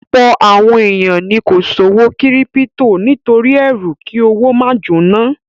Ọ̀pọ̀ àwọn èèyàn ni kò ṣòwò kírípítò nítorí ẹrú kí owó máa jóná